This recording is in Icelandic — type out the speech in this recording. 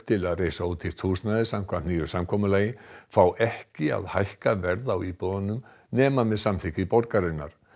til að reisa ódýrt húsnæði samkvæmt nýju samkomulagi fá ekki að hækka verð á íbúðunum nema með samþykki borgarinnar